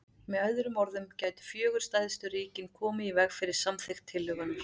Með öðrum orðum gætu fjögur stærstu ríkin komið í veg fyrir samþykkt tillögunnar.